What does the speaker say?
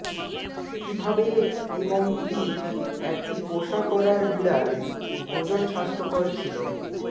কিভাবে এবং কি একটি পোষা করার বিড়াল ভোজন স্বাস্থ্যকর ছিল